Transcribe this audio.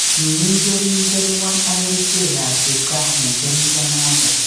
Kimii keringet ngwony ak kerichek ab kipkaa eng keringenoto